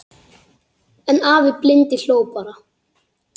En afi blindi hló bara.